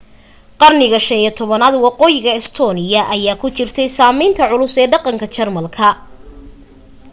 qarniga 15aad waqooyiga estonia ayaa ku jirtay saamaynta culus ee dhaqanka jermanka